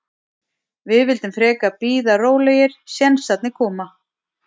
Við vildum frekar bara bíða rólegir, sénsarnir koma.